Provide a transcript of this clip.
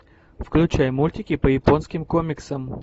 включай мультики по японским комиксам